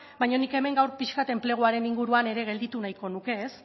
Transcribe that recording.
baina nik hemen gaur pixka bat enpleguaren inguruan ere gelditu nahiko nuke ez